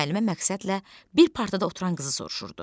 Müəllimə məqsədlə bir partada oturan qızı soruşurdu.